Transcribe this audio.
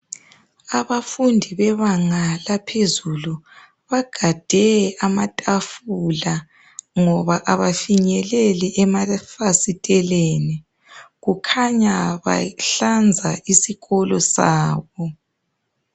Abafundi bebanga laphezulu, bagade amatafula ngoba abafinyeleli emafasiteleni .Kukhanya bahlanza isikolo sabo.